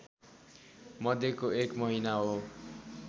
मध्यको एक महिना हो